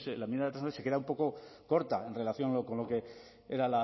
la enmienda de transacción se queda un poco corta en relación con lo que era